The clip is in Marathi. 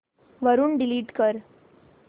वरून डिलीट कर